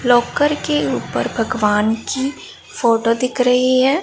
Locker के ऊपर भगवान की फोटो दिख रही है।